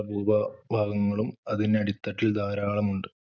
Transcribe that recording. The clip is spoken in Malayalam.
ഭൂ~ഭാഗങ്ങളും അതിന്റെ അടിത്തട്ടിൽ ധാരാളമുണ്ട്.